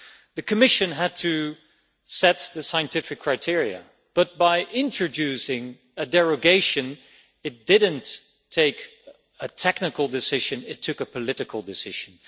The Commission had to set the scientific criteria, but by introducing a derogation it took not a technical decision but a political decision.